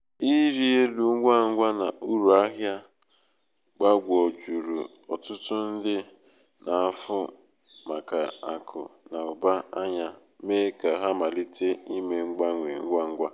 ịrị elu ngwa ngwa na uru ahịa ahịa gbagwojuru ọtụtụ ndị n'afu maka akụ na uba anya mee ka ha malite ime mgbanwe ngwa ngwa.